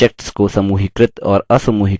objects को समूहीकृत और असमूहीकृत करें